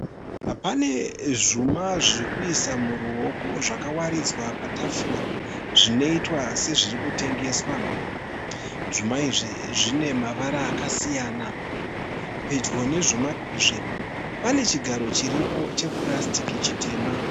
Pane zvuma , zvekuisa muroko , zvaka waridzwa patafura. Zvinoitwa se zviri kutengeswa. Zvuma izvi zvine mavara aka siyana. Pedyo nezvuma izvi pane chigaro chiripo che purasitiki chitema.